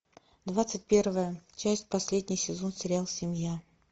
двадцать первая часть последний сезон сериал семья